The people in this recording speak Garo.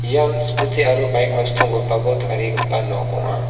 ian skuti aro baik nosto ong·gipako tarigipa nok ong·a.